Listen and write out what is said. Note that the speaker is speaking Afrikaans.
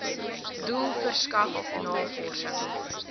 doel verskaf navorsing